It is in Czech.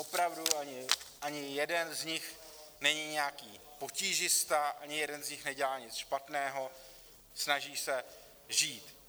Opravdu ani jeden z nich není nijaký potížista, ani jeden z nich nedělá nic špatného, snaží se žít.